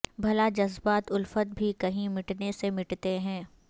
بھلا جذبات الفت بھی کہیں مٹنے سے مٹتے ہیں